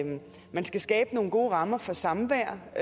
man skal skabe nogle gode rammer for samvær og